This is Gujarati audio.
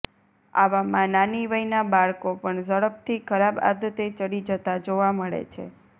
આવામાં નાની વયના બાળકો પણ ઝડપથી ખરાબ આદતે ચડી જતા જોવા મળે છે